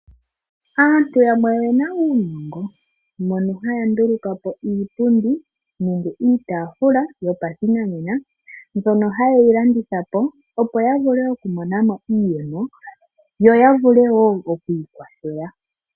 Aantu yamwe oyena uunongo mono haya nduluka po iipundi nenge iitaafula yopashinanena mbyono ha yeyi landitha po opo ya vule oku mona mo iiyemo, yo ya vule wo okwii kwathela.